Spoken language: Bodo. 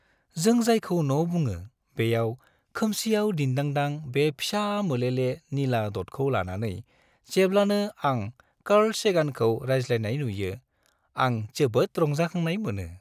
जों जायखौ न' बुङो बेयाव खोमसियाव दिनदांदां बे फिसा मोलेले निला दटखौ लानानै जेब्लानो आं कार्ल सेगानखौ रायज्लायनाय नुयो आं जोबोद रंजाखांनाय मोनो।